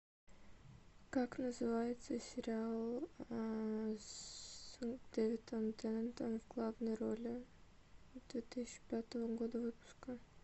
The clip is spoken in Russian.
как называется сериал с дэвидом теннантом в главной роли две тысячи пятого года выпуска